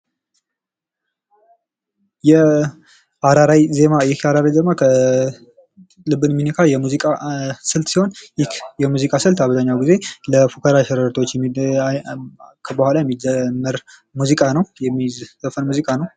የአራራይ ዜማ ይህ የአራራይ ዜማ ልብ የሚነካ የሙዚቃ ስልት ሲሆን ይህ የሙዚቃ ስልት አብዛኛውን ጊዜ ለፉከራ ቀረሮቶዎች የሚደረግ ሙዚቃ ነው።